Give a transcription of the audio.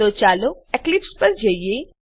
તો ચાલો એક્લીપ્સ પર જઈએ